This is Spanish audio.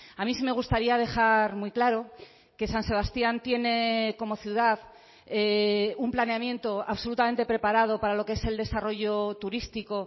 a mí sí me gustaría dejar muy claro que san sebastián tiene como ciudad un planeamiento absolutamente preparado para lo que es el desarrollo turístico